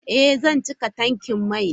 Ee, zan cika tankin mai na.